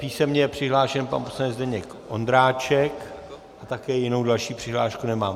Písemně je přihlášen pan poslanec Zdeněk Ondráček a také jinou další přihlášku nemám.